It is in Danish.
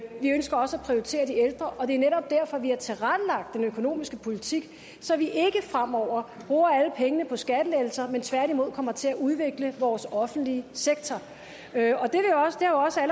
vi ønsker også at prioritere de ældre det er netop derfor at vi har tilrettelagt den økonomiske politik så vi ikke fremover bruger alle pengene på skattelettelser men tværtimod kommer til at udvikle vores offentlige sektor det